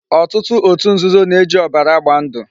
Otutu otu nzuzo na-eji obara agba ndu